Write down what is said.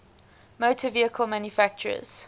motor vehicle manufacturers